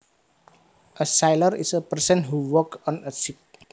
A sailor is a person who works on a ship